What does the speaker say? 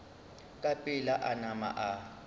ka pela a nama a